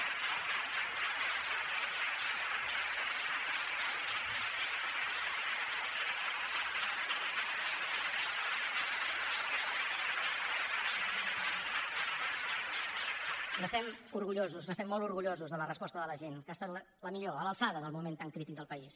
n’estem orgullosos estem molt orgullosos de la resposta de la gent que ha estat la millor a l’alçada del moment tan crític del país